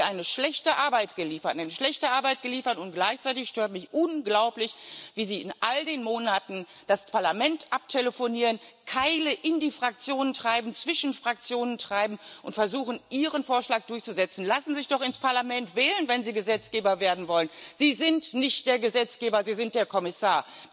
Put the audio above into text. Da haben Sie eine schlechte Arbeit geliefert, und gleichzeitig stört mich unglaublich, wie Sie in all den Monaten das Parlament abtelefonieren, Keile in die Fraktionen treiben, zwischen Fraktionen treiben und versuchen, Ihren Vorschlag durchzusetzen. Lassen Sie sich doch ins Parlament wählen, wenn Sie Gesetzgeber werden wollen! Sie sind nicht der Gesetzgeber, Sie sind der Kommissar.